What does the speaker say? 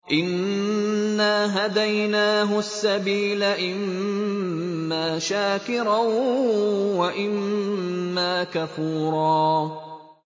إِنَّا هَدَيْنَاهُ السَّبِيلَ إِمَّا شَاكِرًا وَإِمَّا كَفُورًا